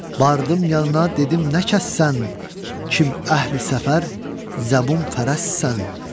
Bardım yanına, dedim nə kəssən, kim əhli səfər zəbun fərəssən.